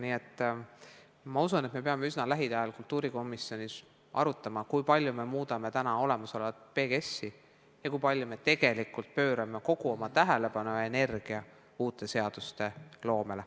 Nii et ma usun, et me peame lähiajal kultuurikomisjonis arutama, kui palju me muudame olemasolevat PGS-i ja kui palju me pöörame tähelepanu ja energiat uute seaduste loomele.